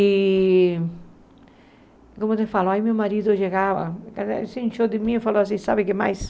E, como você falou, aí meu marido chegava, ele se inchou de mim e falou assim, sabe o que mais?